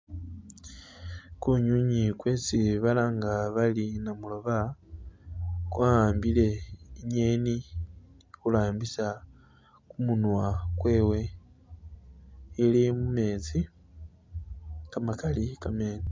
Kunywinywi kwesi balanga bali namuloba, kwa'ambile ingeni khurambisa kumunwa kwewe, ili mumetsi kamakali kamene.